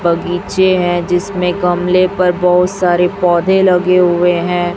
बगीचे है जिसमें गमले पर बोहोत सारे पौधे लगे हुए हैं।